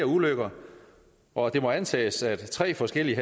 ulykker og at det må antages at tre forskellige